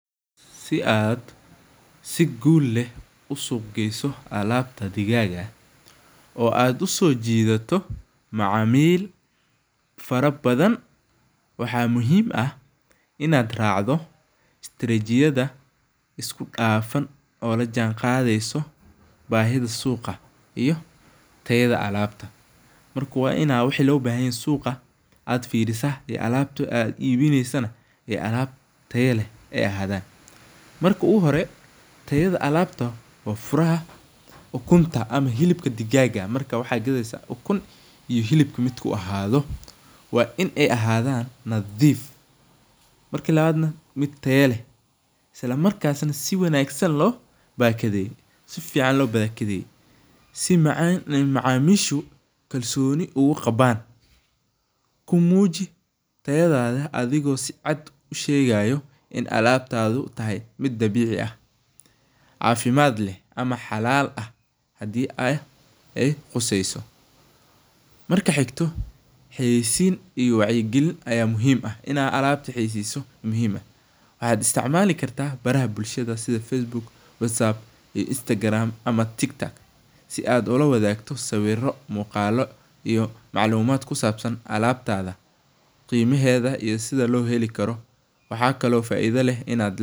Si aad sii gul leh uu suq geyso alabtadha digaga aad usojido macamil fara badhan, waxa muhim ah inad racdo strajiyada iskudafan oo lajanqadeyso bahida suqa iyo tayada alabta, marka waa ina wixi lobahanyahay suqa aad firisa iyo alabta aad ibineyso aay alab taya lehaay ahadan, marka ogu hore tayada alabta waa furaha ukunta ama hilibka digaga marka waxa gadeysa waa ukun iyo hilibka midku ahado waa in aay ahadan nadif marka labad nah mid tayo leh islamarkas nah sii wanagsan nah lobakadeye sii macamisha sii kalsoni oguqaban kumuji tayadada adhigo sii caad ushegayo inay alabtada tahay, mid cabici ah cafimad leh ama xalal ah hadi aay quseyso marka xigto xiyisin iyo wacyo gelin ayaa muhim ah, inad alabtaa xiyiyiso muhim ah waxad istacmali karta baraha bulshada sidhaa Facebook, Whatsapp, Instegram, amah Tiktok si aad olawadagto sibiro, muqalo amah maclumad kusabsan alabtada qimaheda iyo sidhaa loo helikaro waxaa kalee oo faida leh.